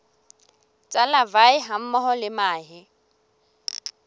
tsa larvae hammoho le mahe